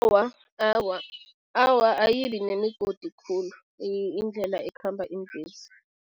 Awa, awa, ayibi nemigodi khulu indlela ekhamba iimbhesi.